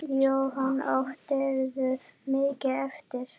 Jóhanna: Áttirðu mikið eftir?